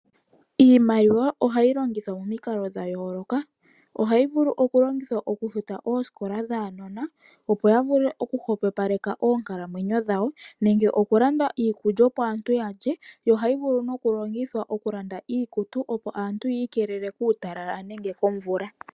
Iimaliwa ohayi longithwa monikalo dha yooloka, ohayi vulu okulongithwa okufuta oosikola dhaanona, opo ya vule okuhwepopaleka oonkalamwenyo dhawo, nenge okulanda iikulya opo aantu ya lye. Yo ohayi vulu nokulongithwa okulanda iikutu opo aantu ya ikelele kuutalala nenge komvula.